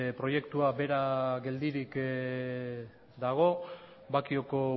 proiektua bera geldirik dago bakioko